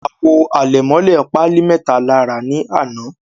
Awo alemole pali meta la ra ni ana